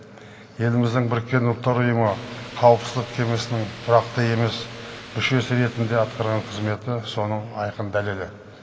еліміздің біріккен ұлттар ұйымы қауіпсіздік кемесінің тұрақты емес мүшесі ретінде атқарған қызметі соның айқын дәлелі